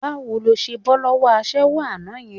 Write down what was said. Báwo ló ṣe bọ́ lọ́wọ́ aṣẹ́wó àná yẹn?